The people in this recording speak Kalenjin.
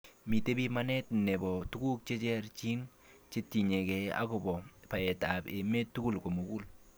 Mitei bimanet nebo tukuk cheterjin chetinyekei akobo baet ab emet tugul komukul.